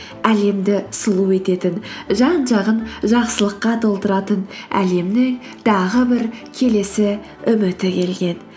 әлемді сұлу ететін жан жағын жақсылыққа толтыратын әлемнің тағы бір келесі үміті келген